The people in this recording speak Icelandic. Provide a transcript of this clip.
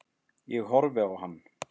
Ég horfði á hann.